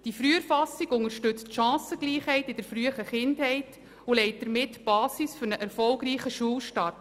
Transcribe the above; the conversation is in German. Diese Früherfassung unterstützt die Chancengleichheit in der frühen Kindheit und legt damit den Grundstein für einen erfolgreichen Schulstart.